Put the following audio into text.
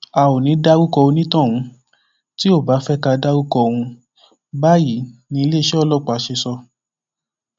a ò ní í dárúkọ onítọhún tí ó bá fẹ ká dárúkọ òun báyìí ní iléeṣẹ ọlọpàá ṣe sọ